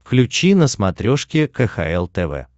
включи на смотрешке кхл тв